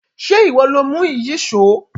Ṣé ìwọ lo mú Ìyíṣòó?